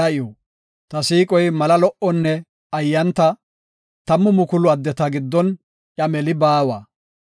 Ta siiqoy mala lo77onne ayanta; tammu mukulu addeta giddon iya meli baawa.